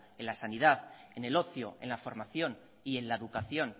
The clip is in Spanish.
en la sanidad en el ocio en la formación y en la educación